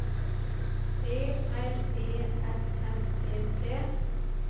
P R E S S E T